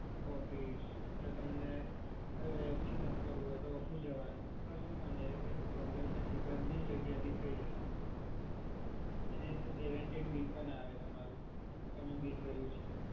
office યા તમને app થી ના કરવું હોય તો office જવાનું. કશું એવું કોઈ problem નથી બંને જગ્યાએથી થય જસે. અને એ તો guarantee bill પણ આવે તમારું કે તમે bill ભર્યું છે.